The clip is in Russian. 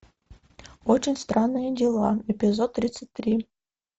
очень странные дела эпизод тридцать три